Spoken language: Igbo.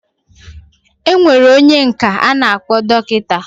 Enwere onye nka ana akpo dokita.